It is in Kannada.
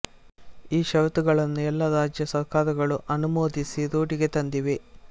ಈ ಷರತ್ತುಗಳನ್ನು ಎಲ್ಲ ರಾಜ್ಯ ಸರ್ಕಾರಗಳೂ ಅನುಮೋದಿಸಿ ರೂಢಿಗೆ ತಂದಿವೆ